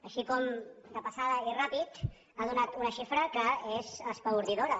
així com de passada i ràpid ha donat una xifra que és espaordidora